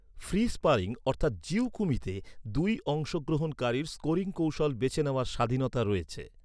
Free sparring অর্থাৎ jiyu kumite দুই অংশগ্রহণকারীর স্কোরিং কৌশল বেছে নেওয়ার স্বাধীনতা রয়েছে।